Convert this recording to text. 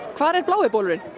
hvar er blái bolurinn